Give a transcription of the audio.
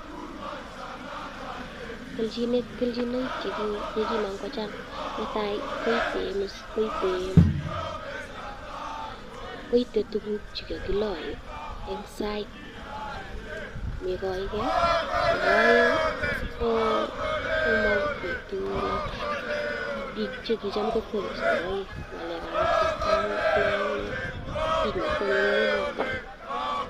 Kelchinoik chekikomong kochang netai koite imus, koite tukuk chekokiloe en soit neikoeke, nebo oeng komokibitu like biik chekitam kwoe sikiroik ng'alekab asista ak nee ak nee ko nyumnyumotin.